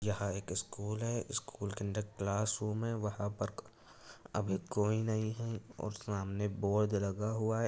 यहाँ एक स्कूल है स्कूल के अंदर क्लासरूम है वहां पर अभी कोई नहीं है और सामने बोर्द बोर्ड लगा हुआ है।